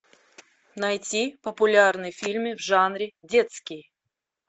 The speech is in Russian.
найти популярные фильмы в жанре детский